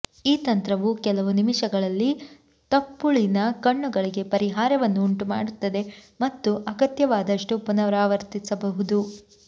ಈ ತಂತ್ರವು ಕೆಲವು ನಿಮಿಷಗಳಲ್ಲಿ ತುಪ್ಪುಳಿನ ಕಣ್ಣುಗಳಿಗೆ ಪರಿಹಾರವನ್ನು ಉಂಟುಮಾಡುತ್ತದೆ ಮತ್ತು ಅಗತ್ಯವಾದಷ್ಟು ಪುನರಾವರ್ತಿಸಬಹುದು